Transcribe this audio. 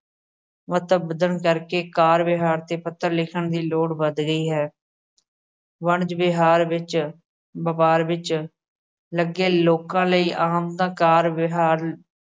ਮਹੱਤਵ ਵਧਣ ਕਰਕੇ ਕਾਰ-ਵਿਹਾਰ ਤੇ ਪੱਤਰ ਲਿਖਣ ਦੀ ਲੋੜ ਵੱਧ ਗਈ ਹੈ। ਵਣਜ ਵਿਹਾਰ ਵਿੱਚ, ਵਪਾਰ ਵਿੱਚ ਲੱਗੇ ਲੋਕਾ ਲਈ ਆਮ ਦਾ ਕਾਰ-ਵਿਹਾਰ